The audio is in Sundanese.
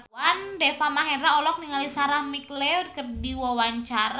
Deva Mahendra olohok ningali Sarah McLeod keur diwawancara